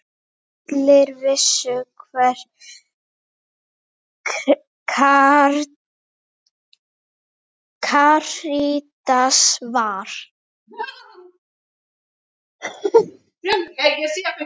Allir vissu hver Karítas var.